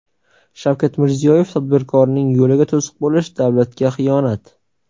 Shavkat Mirziyoyev: Tadbirkorning yo‘liga to‘siq bo‘lish davlatga xiyonat!.